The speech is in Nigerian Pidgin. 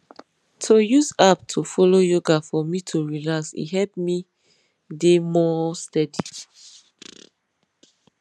to use app to follow yoga for me to relax e help me dey more steady